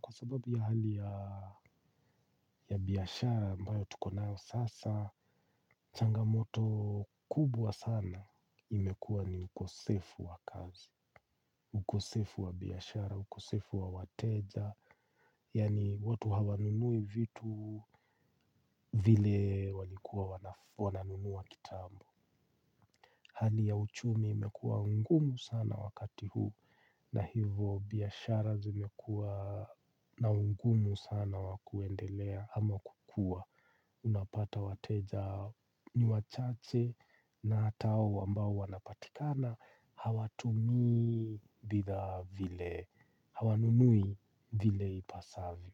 Kwa sababu ya hali ya biashara ambayo tuko nayo sasa changamoto kubwa sana imekuwa ni ukosefu wa kazi. Ukosefu wa biyashara, ukosefu wa wateja yaani watu hawanunui vitu vile walikuwa wananunua kitambo. Hali ya uchumi imekuwa ngumu sana wakati huu na hivo biashara zimekuwa na ugumu sana wa kuendelea ama kukua. Unapata wateja ni wachache na hata hao ambao wanapatikana hawatumii bidhaa vile, hawanunui vile ipasavyo.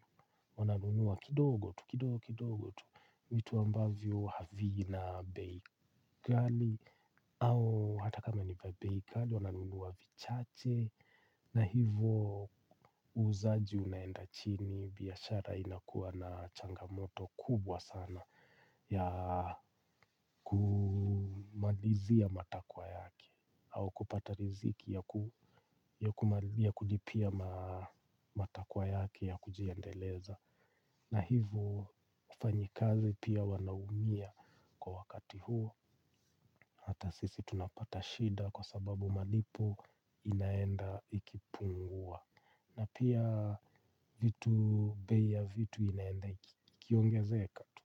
Wananunua kidogo tu, kidogo kidogo tu, vitu ambavyo havina bei kali. Au hata kama ni bei kali wananunua vichache na hivo uuzaji unaenda chini biashara inakuwa na changamoto kubwa sana ya kumalizia matakwa yake au kupata riziki ya kulipia matakwa yake ya kujiendeleza na hivo wafanyikazi pia wanaumia kwa wakati huu. Hata sisi tunapata shida kwa sababu malipo inaenda ikipungua. Na pia vitu bei ya vitu inaenda ikiongezeka tu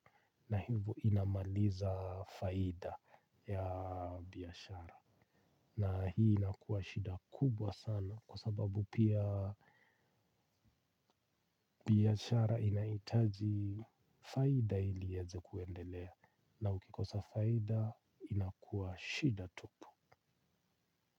na hivo inamaliza faida ya biashara. Na hii inakuwa shida kubwa sana kwa sababu pia biashara inahitaji faida ili ieze kuendelea na ukikosa faida inakuwa shida tupu.